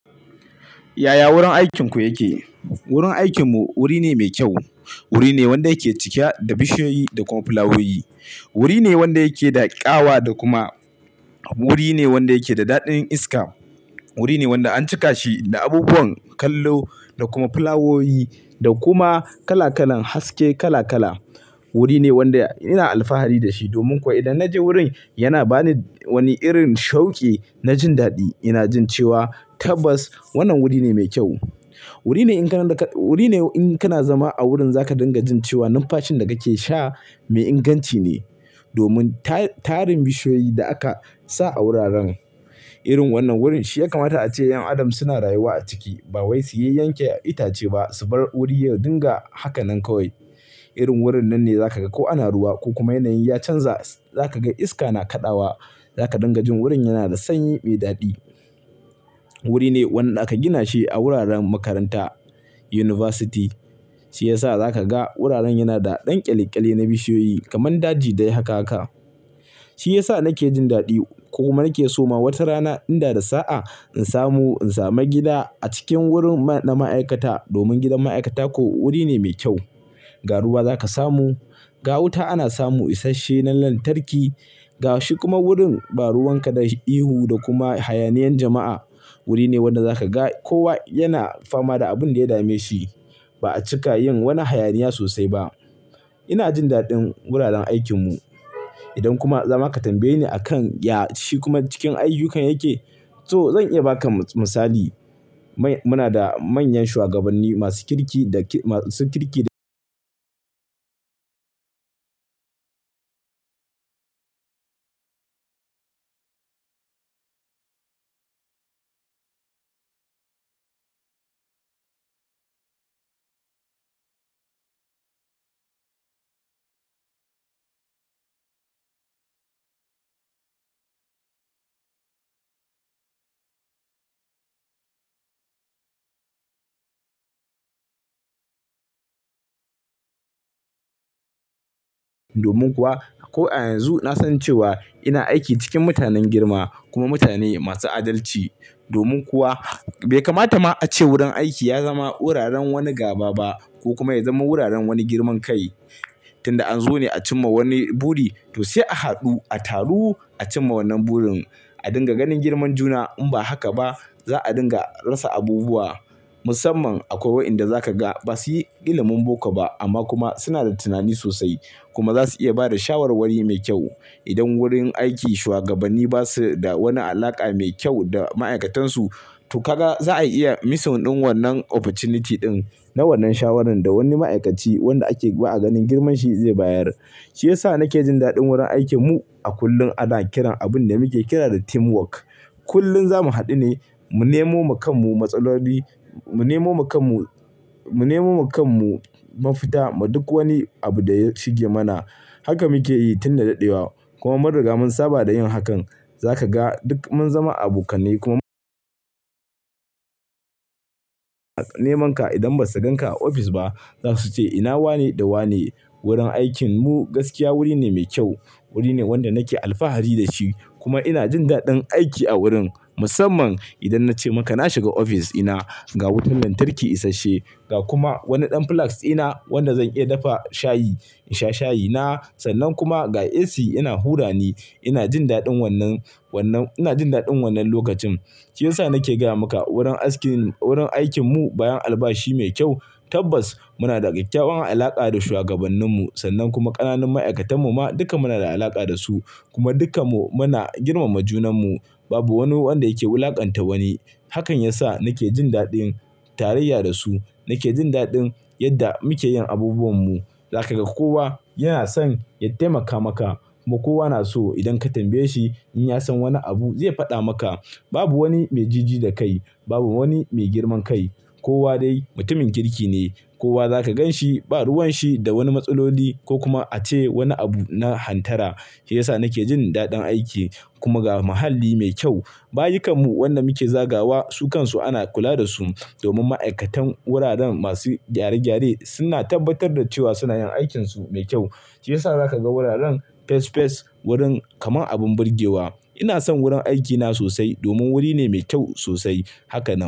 Yaya wurin aikinku yake? Wurin aikinmu wuri ne mai kyau. Wuri ne wanda yake cike da bishiyoyi da kuma fulawowi. Wuri ne wanda yake da ƙawa da kuma Wuri ne wanda yake da daɗin iska. Wuri ne wanda an cika shi da abubuwan kallo da kuma fulawowi da kuma kala kalan haske kala kala. Wuri ne wanda ina alfahari da shi domin kuwa idan na je wurin yana ba ni wani irin shauki na jin daɗi. Ina jin cewa tabbas wannan wuri ne mai kyau. Wuri ne in ka-- wuri ne in ka na zama a wurin za ka dinga jin cewa numfashin da kake sha mai inganci ne, domin ta-tarin bishiyoyi da aka sa a wuraren irin wannan wurin shi ya kamata ace 'yan adam suna rayuwa a ciki, ba wai su yi yanke itace ba su bar wuri yayi dinga haka nan kawai. Irin wurin nan ne za ka ga ko ana ruwa ko kuma yanayi ya canza za ka ga iska na kaɗawa. Za ka dinga jin wurin yana da sanyi mai daɗi. Wuri ne wanda aka gina shi a wuraren makaranta, yunifasti. Shi ya sa za ka ga wuraren yana da ɗan ƙyalƙyale na bishiyoyi kamar daji dai haka haka. Shi ya sa nake jin daɗi ko ma nake so ma wata rana in da da saa in samu in sami gida a cikin wurin ma-na ma'aikata domin gidan ma'aikata ko wuri ne mai kyau. Ga ruwa za ka samu, ga wuta ana samu isashe na lantarki, ga shi kuma wurin ba ruwan ka da ihu da kuma hayaniyan jama'a. Wuri ne wanda za ka ga kowa yana fama da abin da ya dame shi ba'a cika yin wani hayaniya sosai ba. Ina jin daɗin wuraren aikin mu. Idan kuma za ma ka tambaye ni a kan ya shi kuma cikin ayyukin yake, to zan iya ba ka misali. Mu na da manyan shugabanni masu kirki da masu kirki da domin kuwa ko a yanzu na san cewa ina aiki cikin mutanen girma kuma mutane masu adalci. Domin kuwa bai kamata ma ace wurin aiki ya zama wuraren wani gaba ba ko kuma ya zama wuraren wani girman kai. Tin da an zo ne a cimma wani buri to sai a haɗu a taru a cimma wannan burin, a dinga ganin girman juna. In ba haka ba za a dinga rasa abubuwa musamman akwai wa'inda za ka ga ba su yi ilimin boko ba amma kuma su na da tunani sosai kuma za su iya ba da shawarwari mai kyau. Idan wurin aiki shuwagabanni ba su da wani alaƙa mai kyau da ma'aikatansu to ka ga za a iya missing ɗin wannan opportunity ɗin na wannan shawarar da wani ma'aikaci wanda ake ba a ganin girman shi zai bayar. Shi ya sa nake jin daɗin wurin aikin mu a kullum ana kiran abin da muke kira da teamwork. Kullum za mu haɗu ne mu nemo ma kan mu matsaloli, mu nemo ma kan mu, mu nemo ma kan mu mafita ma duk wani abu da ya shige mana. Haka muke yi tin da daɗewa kuma mun riga mun saba da yin hakan. Za ka ga duk mun zama abokanai kuma Neman ka idan ba su ganka a ofis ba za su ce ina wane da wane. Wurin aikin mu gaskiya wuri ne mai kyau. Wuri ne wanda nake alfahari da shi kuma ina jin daɗin aiki a wurin musamman idan na ce maka na shiga ofis ina ga wutar lantarki isashe ga kuma wannan ɗan flex ina wanda zan iya dafa shayi in sha shayi na sannan kuma ga AC ina hura ni. Ina jin daɗin wannan, wannan ina jin daɗin wannan lokacin. Shi ya sa nake gaya maka wurin askin-- wurin aikin mu bayan albashi mai kyau tabbas muna da kyakkyawan alaƙa da shuwagabannin mu sannan kuma ƙananan ma'aikatan mu ma duka muna da alaƙa da su kuma duka mu muna girmama junan mu. Babu wani wanda yake wulaƙanta wani. Hakan ya sa nake jin daɗin tarayya da su. Nake jin daɗin yadda muke yin abubuwan mu. Za ka ga kowa yana son ya taimaka maka kuma kowa na so idan ka tambaye shi in ya san wani abu zai faɗa maka. Babu wani mai jiji da kai, babu wani mai girman kai. Kowa dai mutumin kirki ne. Kowa za ka gan shi ba ruwan shi da wani matsaloli ko kuma ace wani abu na hantara. Shi ya sa nake jin daɗin aiki kuma ga muhalli mai kyau. Bayukan mu wannan muke zagawa su kan su ana kula da su domin ma'aikatan wuraren masu gyare-gyare suna tabbatar da cewa suna yin aikin su mai kyau. Shi ya sa za ka ga wuraren fes fes wurin kamar abin burgewa. Ina son wurin aikina sosai domin wuri ne mai kyau sosai. Hakanan.